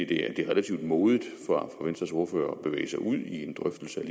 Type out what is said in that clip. det er relativt modigt af venstres ordfører at bevæge sig ud i en drøftelse af